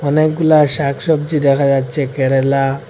অনেকগুলা শাকসব্জী দেখা যাচ্ছে কেরেলা--